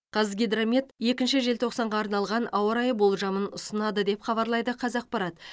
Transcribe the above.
қазгидромет екінші желтоқсанға арналған ауа райы болжамын ұсынады деп хабарлайды қазақпарат